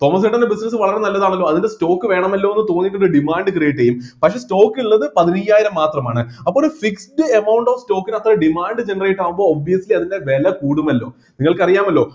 തോമസേട്ടന്റെ business വളരെ നല്ലതാണല്ലോ അതിൻ്റെ stock വേണമല്ലോ എന്ന് തോന്നിട്ട്ണ്ടെ demand create ചെയ്യും പക്ഷെ stock ഇള്ളത് പതിനയ്യായിരം മാത്രമാണ് അപ്പോള് fixed amount of stock നൊത്ത demand generate ആവുമ്പോ obviously അതിൻ്റെ വില കുടുമല്ലോ നിങ്ങൾക്ക് അറിയാമല്ലോ